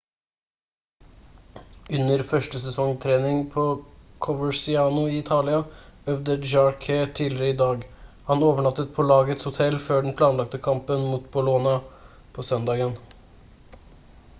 under førsesongtreningen på coverciano i italia øvde jarque tidligere i dag han overnattet på lagets hotell før den planlagte kampen mot bolonia på søndagen